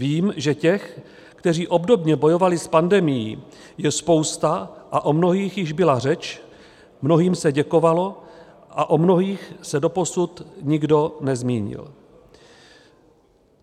Vím, že těch, kteří obdobně bojovali s pandemií, je spousta, a o mnohých již byla řeč, mnohým se děkovalo a o mnohých se doposud nikdo nezmínil.